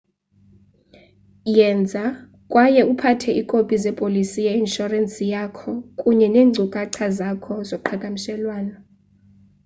yenza kwaye uphathe iikopi zepolisi ye-inshorensi yakho kunye neenkcukacha zakho zoqhagamshelwanoi